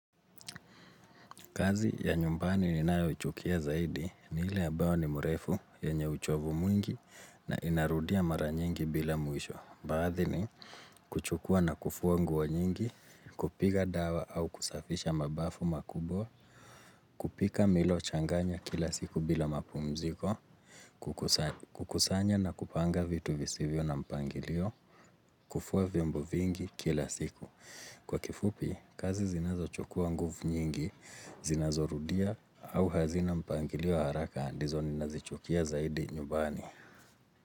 Kazi ya nyumbani ninayoichukia zaidi ni ile ambayo ni mrefu yenye uchovu mwingi na inarudia mara nyingi bila mwisho. Baadhi ni kuchukua na kufua nguo nyingi, kupiga dawa au kusafisha mabafu makubwa, kupika milo changanya kila siku bila mapumziko, kukusanya na kupanga vitu visivyo na mpangilio, kufua vimbo vingi kila siku. Kwa kifupi, kazi zinazochukua nguvu nyingi, zinazorudia au hazina mpangilio haraka ndizo ninazichukia zaidi nyumbani.